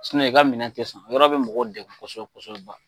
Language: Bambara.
i ka minɛn tɛ san, o yɔrɔ bɛ mɔgɔ degun kosɛbɛ kosɛbɛ ba